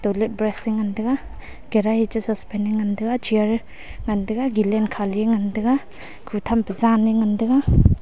let brush te ngan tega karahi che suspen ne ngan tega chair. ngan tega galen Khali ngan tega khu tham te jan ne ngan tega.